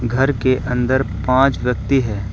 घर के अंदर पांच व्यक्ति है।